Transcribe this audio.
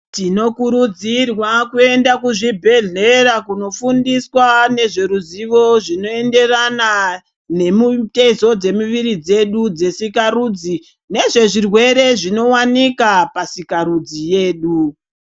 Tinokurudzirwa kuenda kuzvibhedhlera kundofundiswa nezveruzivo zvinoenderana nemitezo dzemuviri dzedu dzesikarudzi nezvezvirwere zvinowanika pasika rudzi yedu.